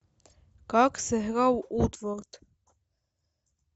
как сыграл уотфорд